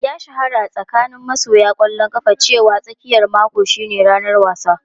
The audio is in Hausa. Ya shahara a tsakanin masoya ƙwallon kafa cewa tsakiyar mako shine ranar wasa.